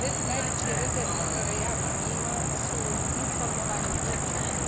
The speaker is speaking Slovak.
Najväčšie rezervy, ktoré ja vidím, sú v informovaní občanov.